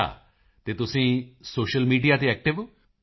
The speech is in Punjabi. ਮੋਦੀ ਜੀ ਅੱਛਾ ਤੇ ਤੁਸੀਂ ਸੋਸ਼ਲ ਮੀਡੀਆ ਤੇ ਐਕਟਿਵ ਹੋ